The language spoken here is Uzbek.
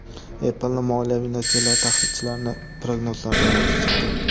Apple’ning moliyaviy natijalari tahlilchilarning prognozlaridan yaxshi chiqdi.